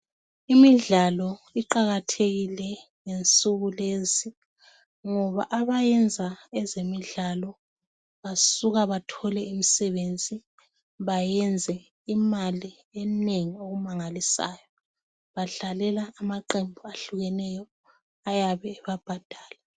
Imidlalo iqakathekile ngensuku lezi ngoba abayenza ezemidlalo basuka bathole imisebenzi bayenze imali enengi okumangalisayo badlalela amaqembu ahlukeneyo ayabe babhadala.